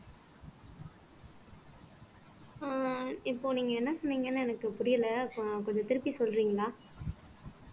அஹ் இப்போ நீங்க என்ன சொன்னீங்கன்னு எனக்கு புரியல so கொஞ்சம் திருப்பி சொல்றீங்களா